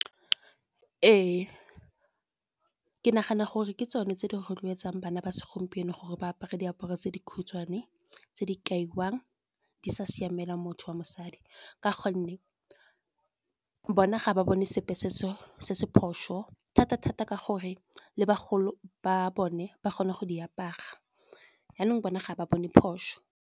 Ee, ke nagana gore ke tsone tse di rotloetsang bana ba segompieno gore ba apare diaparo tse dikhutshwane. Tse di kaiwang di sa siamela motho wa mosadi, ka gonne bona ga ba bone sepe se se se phoso, thata-thata ka gore le bagolo ba bone ba kgona go di apara, janong bona ga ba bone phoso.